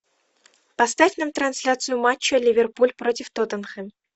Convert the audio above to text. поставь нам трансляцию матча ливерпуль против тоттенхэм